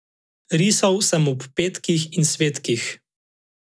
Risal sem ob petkih in svetkih.